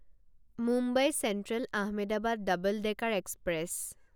Mumbai central Ahmedabad double decker express